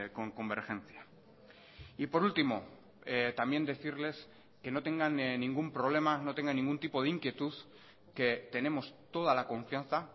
con convergencia y por último también decirles que no tengan ningún problema no tengan ningún tipo de inquietud que tenemos toda la confianza